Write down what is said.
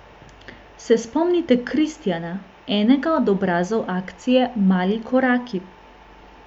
Se spomnite Kristijana, enega od obrazov akcije Mali koraki?